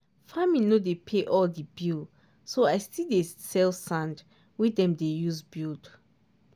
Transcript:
farming no dey pay all di bill so i still dey sell sand wey dem dey use build.